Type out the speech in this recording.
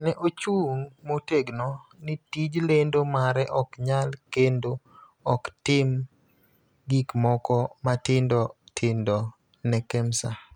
Ne ochung� motegno ni tij lendo mare ok nyal kendo ok otim gik moko matindo tindo ne Kemsa.